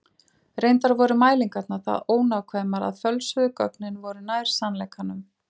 Reyndar voru mælingarnar það ónákvæmar að fölsuðu gögnin voru nær sannleikanum.